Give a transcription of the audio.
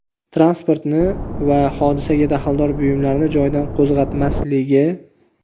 transportni va hodisaga daxldor buyumlarni joyidan qo‘zg‘atmasligi;.